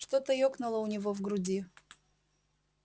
что-то ёкнуло у него в груди